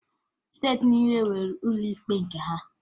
Steeti niile nwere ụlọ ikpe nke ha